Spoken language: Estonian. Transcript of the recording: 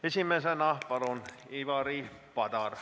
Esimesena Ivari Padar, palun!